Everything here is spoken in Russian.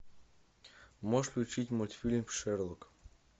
можешь включить мультфильм шерлок